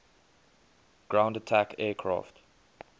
ground attack aircraft